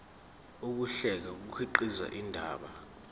ukuhlela kukhiqiza indaba